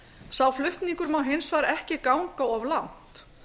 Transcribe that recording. sá flutningur má hins vegar ekki ganga of langt